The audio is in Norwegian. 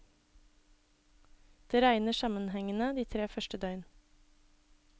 Det regner sammenhengende de tre første døgn.